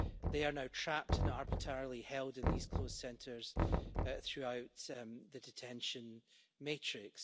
They are now trapped and arbitrarily held in these closed centres throughout the detention matrix.